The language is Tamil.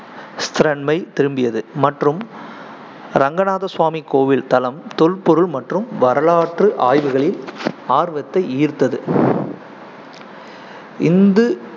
ஸ்திரன்மை திரும்பியது மற்றும் ரங்கநாத சுவாமி கோவில் தளம் தொல்பொருள் மற்றும் வரலாற்று ஆய்வுகளில் ஆர்வத்தை ஈர்த்தது இந்து